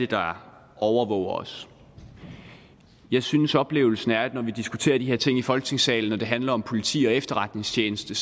der overvåger os jeg synes at oplevelsen er at når vi diskuterer de her ting i folketingssalen og det handler om politi og efterretningstjeneste